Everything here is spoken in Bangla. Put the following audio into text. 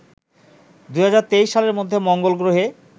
২০২৩ সালের মধ্যে মঙ্গলগ্রহে